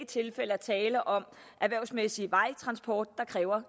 tilfælde er tale om erhvervsmæssig vejtransport der kræver